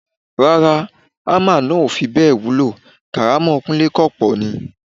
Rárá, hámà náà ò fi bẹ́ẹ̀ wúwo, kàrámọ̀ Kúńlé kọ̀ pọ̀ ni.